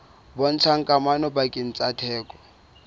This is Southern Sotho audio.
bontshang kamano pakeng tsa theko